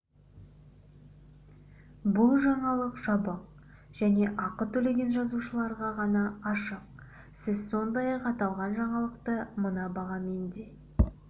бұл жаңалық жабық және ақы төлеген жазылушыларға ғана ашық сіз сондай-ақ аталған жаңалықты мына бағамен де